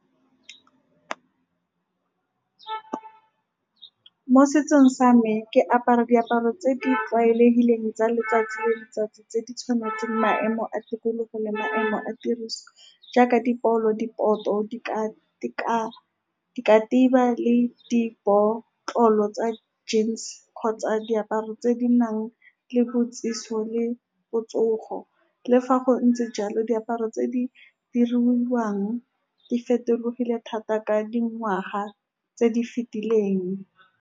Mo setsong sa me, ke apara diaparo tse di tloaelehileng tsa letsatsi le letsatsi, tse di tshwanetseng maemo a tikologo le maemo a tiriso, jaaka di ka , likatiba le di botlalo tsa , kgotsa diaparo tse di nang le le botsogo. Le fa go ntse jalo, diaparo tse di diriwang di fetogile thata ka dingwaga tse di fetileng.